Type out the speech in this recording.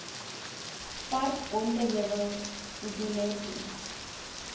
park bonteheuwel guguletu